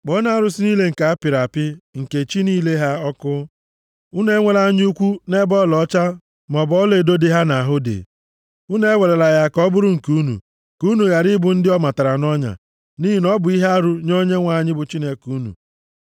Kpọọnụ arụsị niile nke apịrị apị nke chi niile ha ọkụ. Unu enwela anya ukwu nʼebe ọlaọcha maọbụ ọlaedo dị ha nʼahụ dị. Unu ewerela ya ka ọ bụrụ nke unu, ka unu ghara ịbụ ndị ọ matara nʼọnya, nʼihi na ọ bụ ihe arụ nye Onyenwe anyị bụ Chineke unu.